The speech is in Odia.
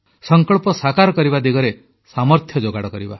ସଂକଳ୍ପ ସାକାର କରିବା ଦିଗରେ ସାମର୍ଥ୍ୟ ଯୋଗାଡ଼ କରିବା